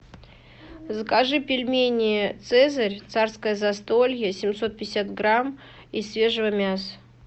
закажи пельмени цезарь царское застолье семьсот пятьдесят грамм из свежего мяса